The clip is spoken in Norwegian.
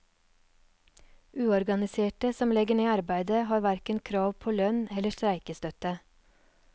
Uorganiserte som legger ned arbeidet har hverken krav på lønn eller streikestøtte.